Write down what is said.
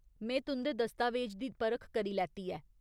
में तुं'दे दस्तावेज दी परख करी लैती ऐ।